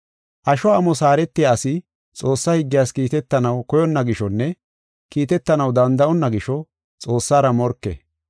Asho amos haaretiya asi Xoossaa higgiyas kiitetanaw koyonna gishonne kiitetanaw danda7onna gisho, Xoossara morke.